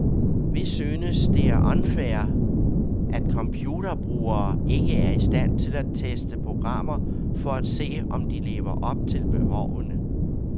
Vi synes det er unfair at computerbrugere ikke er i stand til at teste programmer for at se, om de lever op til behovene.